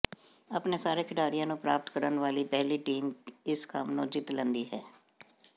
ਆਪਣੇ ਸਾਰੇ ਖਿਡਾਰੀਆਂ ਨੂੰ ਪ੍ਰਾਪਤ ਕਰਨ ਵਾਲੀ ਪਹਿਲੀ ਟੀਮ ਇਸ ਕੰਮ ਨੂੰ ਜਿੱਤ ਲੈਂਦੀ ਹੈ